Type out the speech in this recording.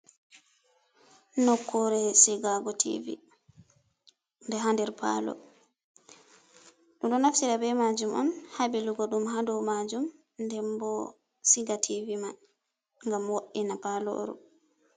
Nokkure sigago tivi be ha nder palo. Ɗum ɗo naftira be majum on ha ɓilugo ɗum hado majum, nden bo siga tivi man ngam wo, ina paloru.